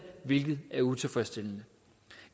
hvilket er utilfredsstillende